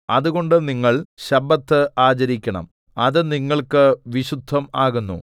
അതുകൊണ്ട് നിങ്ങൾ ശബ്ബത്ത് ആചരിക്കണം അത് നിങ്ങൾക്ക് വിശുദ്ധം ആകുന്നു